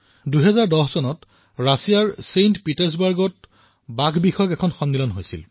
বাঘক লৈ ২০১০ চনত ৰাছিয়াৰ ছেণ্ট পিটাছবাৰ্গত ব্যাঘ্ৰ সন্মিলন হৈছিল